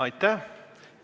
Aitäh!